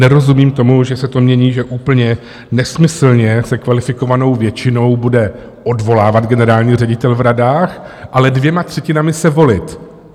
Nerozumím tomu, že se to mění, že úplně nesmyslně se kvalifikovanou většinou bude odvolávat generální ředitel v radách, ale dvěma třetinami se volit.